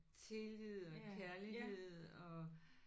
Tillid og kærlighed og